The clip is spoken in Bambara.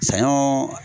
Saɲɔ